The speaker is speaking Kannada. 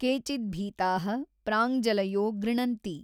ಕೇಚಿದ್ಭೀತಾಃ ಪ್ರಾಞ್ಜಲಯೋ ಗೃಣನ್ತಿ।